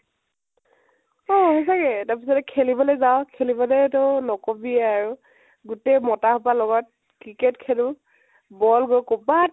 অ সচাঁকে । তাৰ পিছতে খেলিবলৈ যাও, খেলিবলৈ তো নকবিয়ে আৰু । গোটেই মতা সুপাৰ লগত cricket খেলো, ball গৈ কৰবাত